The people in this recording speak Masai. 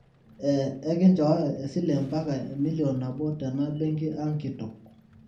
eeh enkinchooyo esile mpaka emilion nabo tena benki ang kitok